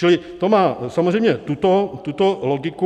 Čili to má samozřejmě tuto logiku.